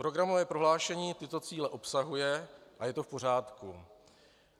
Programové prohlášení tyto cíle obsahuje a je to v pořádku.